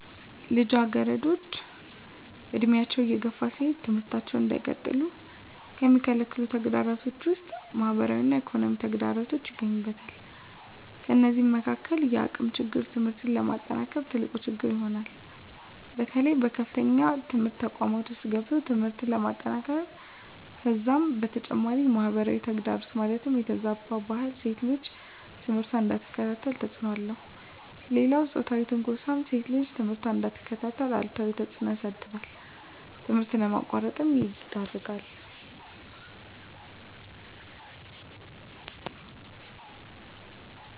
ልጃገረዶች ዕድሜያቸው እየገፋ ሲሄድ ትምህርታቸውን እንዳይቀጥሉ ከሚከለክሉ ተግዳሮቶች ውስጥ ማህበራዊ እና ኢኮኖሚያዊ ተግዳሮቶች ይገኙበታል። ከነዚህም መካካል የአቅም ችግር ትምህርት ለማጠናቀቅ ትልቁ ችግር ይሆናል። በተለይ በከፍተኛ ትምህርት ተቋማት ውስጥ ገብቶ ትምህርትን ለማጠናቀቅ ከዛም በተጨማሪ ማህበራዊ ተግዳሮት ማለትም የተዛባ ባህል ሴት ልጅ ትምህርቷን እንዳትከታተል ተፅዕኖ አለው። ሌላው ፆታዊ ትንኳሳም ሴት ልጅ ትምህርቷን እንዳትከታተል አሉታዊ ተፅዕኖ ያሳድራል ትምህርት ለማቋረጥ ይዳርጋል።